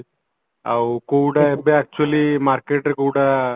ଆଉ କୋଉଟା ଏବେ actually marketରେ କୋଉଟା